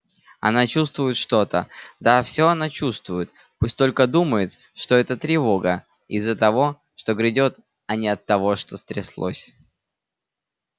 она чувствует что-то да всё она чувствует пусть только думает что эта тревога из-за того что грядёт а не от того что стряслось